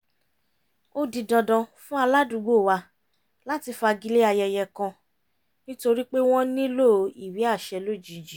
ó di dandan fún aládùúgbò wa láti fagilé ayẹyẹ kan nítorí pé wọ́n nílò ìwé àṣẹ lójijì